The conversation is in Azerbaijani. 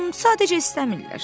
Sadəcə istəmirlər.